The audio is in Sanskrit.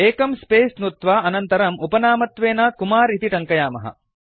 एकं स्पेस नुत्वा अनन्तरम् उपनामत्वेन कुमार इति टङ्कयामः